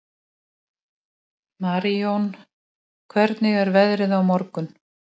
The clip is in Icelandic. Tölur hans um mannfjölda byggjast á þessum forsendum.